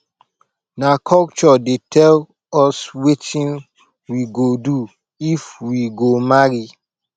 na culture dey tell us wetin we go do if we go marry